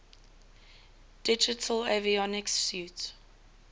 digital avionics suite